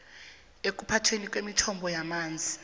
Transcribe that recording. ekuphathweni kwemithombo yamanzi